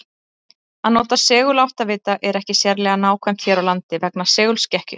Að nota seguláttavita er ekki sérlega nákvæmt hér á landi vegna segulskekkju.